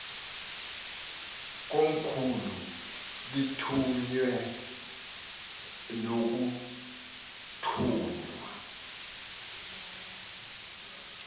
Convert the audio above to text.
komkhulu lithunywe nokuthunywa